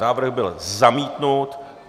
Návrh byl zamítnut.